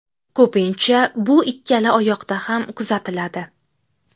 Ko‘pincha bu ikkala oyoqda ham kuzatiladi.